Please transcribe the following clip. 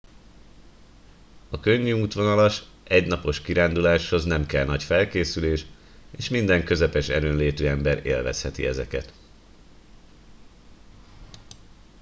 a könnyű útvonalas egy napos kiránduláshoz nem kell nagy felkészülés és minden közepes erőnlétű ember élvezheti ezeket